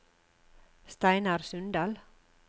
Steinar Sundal